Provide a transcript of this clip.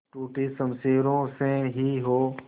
टूटी शमशीरों से ही हो